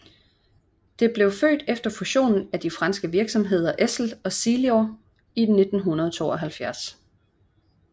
Det blev født efter fusionen af de franske virksomheder Essel og Silor i 1972